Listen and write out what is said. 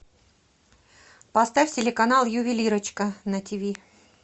поставь телеканал ювелирочка на тв